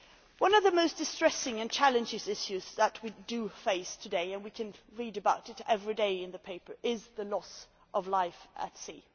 One of the most distressing and challenging issues that we face today, and we can read about it every day in the papers, is the loss of life at sea.